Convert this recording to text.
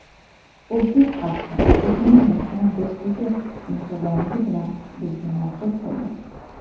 O‘zbek xalqi o‘zining mehmondo‘stligi, mehribonligi bilan bizga manzur bo‘ldi.